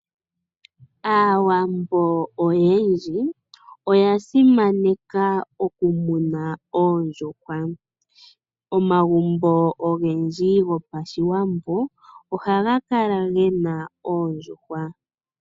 Aawambo oyendji, oya simaneka oku muna oondjuhwa. Omagumbo ogendji gopashiwambo oha ga kala gena oondjuhwa.